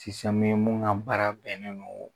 min ka baara bɛnnen don